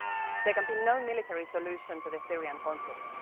There can be no military solution to the Syrian conflict.